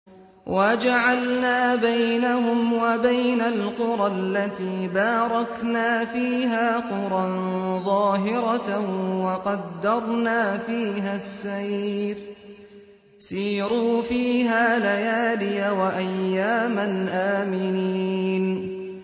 وَجَعَلْنَا بَيْنَهُمْ وَبَيْنَ الْقُرَى الَّتِي بَارَكْنَا فِيهَا قُرًى ظَاهِرَةً وَقَدَّرْنَا فِيهَا السَّيْرَ ۖ سِيرُوا فِيهَا لَيَالِيَ وَأَيَّامًا آمِنِينَ